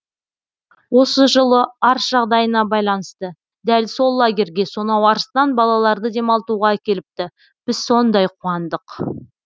осы жылы арыс жағдайына байланысты дәл сол лагерьге сонау арыстан балаларды демалтуға әкеліпті біз сондай қуандық